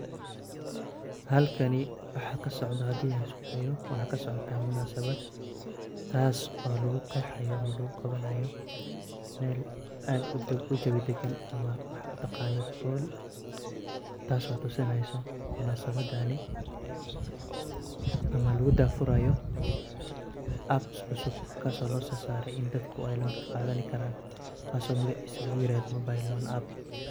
Halkani waxa kasocda hadan iskudayo waxa ksocota munasabad taaso lugu qeexayo ama lugu qawanayo Mel aad u jebi dagan waxad utaqaano Hall taaso oo tusineyso munasabadani ama lugu dah furayo apps cusub kaaso dadka ay loan kaqadani karan kaaso magicis lugu yirahdo mobile loan app